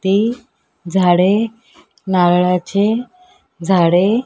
ते झाडे नारळाचे झाडे --